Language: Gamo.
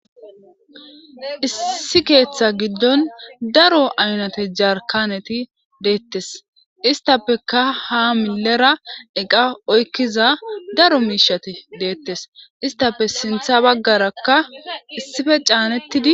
Issi keetha gidon daro aynate jarkaneti deetes istapeka ha milera eqa oykiza daro miishati deetes istape sintha bagaraka issipe caanetidi.